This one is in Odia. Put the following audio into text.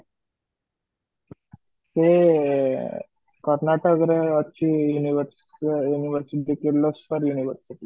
ସେ କରଣତକ ରେ ଅଛି Univers ସେ university University